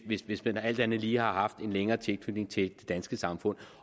hvis hvis man alt andet lige har haft en længere tilknytning til det danske samfund